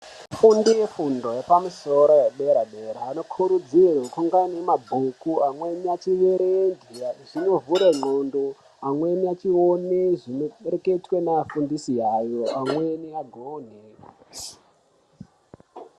Vafundi vefundo yepamusoro yedera-dera anokurudzirwa kunge anemabhuku, amweni achierenge ndaa zvinovhura ndxondo, amweni achione zvinohwereketwa ngeafundisi ayo, amweni agone.